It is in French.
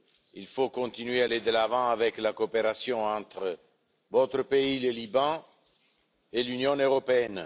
Il faut continuer à aller de l'avant avec la coopération entre votre pays le Liban et l'Union européenne.